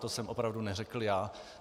To jsem opravdu neřekl já.